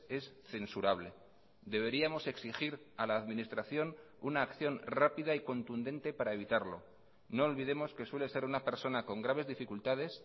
es censurable deberíamos exigir a la administración una acción rápida y contundente para evitarlo no olvidemos que suele ser una persona con graves dificultades